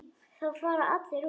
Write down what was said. Þá fara allir út.